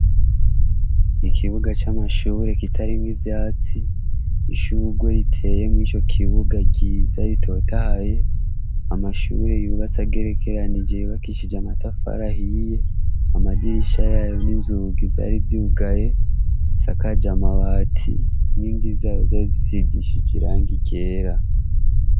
Ikibuga ca mashure kitarimwo ivyatsi ishurwe riteye murico kibuga ryiza ritotahaye amashuri yubatse agerekeranije ryubakishije amatfari ahiye amadirisha yayo n'inzugi vyari vyugaye isakaje amabati inkingi zayo zari zisigishije irangi ryera.